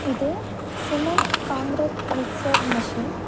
இது cement concrete mixer machine .